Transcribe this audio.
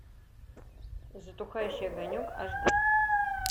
затухающий огонек аш ди